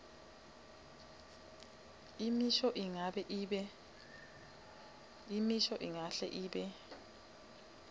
imisho ingahle ibe